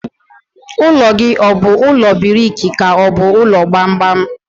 Ụlọ gị ọ bụ ụlọ briki ka ọ bụ ụlọ gbamgbam?